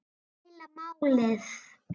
Það er heila málið!